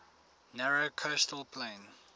narrow coastal plain